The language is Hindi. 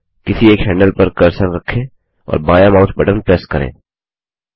किसी एक हैंडल पर कर्सर रखें और बायाँ माउस बटन प्रेस करें